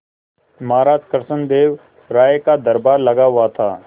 महाराज कृष्णदेव राय का दरबार लगा हुआ था